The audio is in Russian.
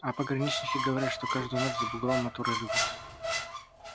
а пограничники говорят что каждую ночь за бугом моторы ревут